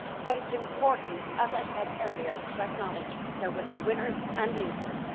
It is important as I said earlier to acknowledge that there will be winners and losers.